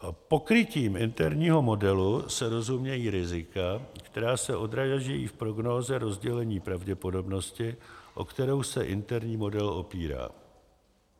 Pokrytím interního modelu se rozumějí rizika, která se odrážejí v prognóze rozdělení pravděpodobnosti, o kterou se interní model opírá.